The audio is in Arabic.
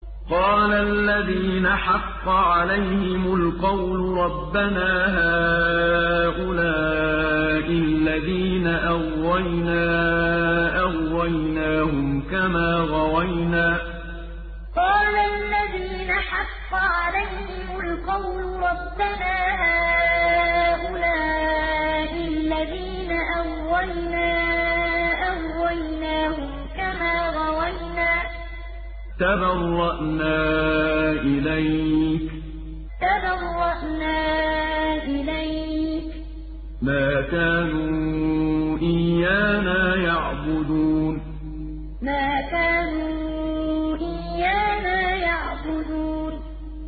قَالَ الَّذِينَ حَقَّ عَلَيْهِمُ الْقَوْلُ رَبَّنَا هَٰؤُلَاءِ الَّذِينَ أَغْوَيْنَا أَغْوَيْنَاهُمْ كَمَا غَوَيْنَا ۖ تَبَرَّأْنَا إِلَيْكَ ۖ مَا كَانُوا إِيَّانَا يَعْبُدُونَ قَالَ الَّذِينَ حَقَّ عَلَيْهِمُ الْقَوْلُ رَبَّنَا هَٰؤُلَاءِ الَّذِينَ أَغْوَيْنَا أَغْوَيْنَاهُمْ كَمَا غَوَيْنَا ۖ تَبَرَّأْنَا إِلَيْكَ ۖ مَا كَانُوا إِيَّانَا يَعْبُدُونَ